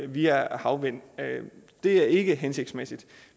via havvind det er ikke hensigtsmæssigt vi